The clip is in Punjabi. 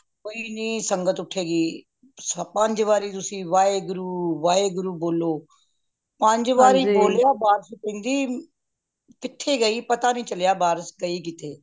ਕੋਈ ਨਹੀਂ ਸੰਗਤ ਉਠੇ ਗੀ ਪੰਜ ਵਾਰੀ ਤੁਸੀ ਵਾਹਿਗੁਰੂ ਵਾਹਿਗੁਰੂ ਬੋਲੋ ਪੰਜ ਵਾਰੀ ਬੋਲਿਆ ਬਾਰਿਸ਼ ਕਹਿੰਦੀ ਕਿਥੇ ਗਯੀ ਪਤਾ ਨਹੀਂ ਚਲਿਆ ਬਾਰਿਸ਼ ਗਯੀ ਕਿਥੇ